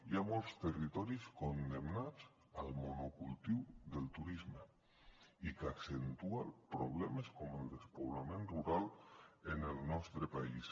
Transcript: hi ha molts territoris condemnats al monocultiu del turisme i que accentua problemes com el despoblament rural en el nostre país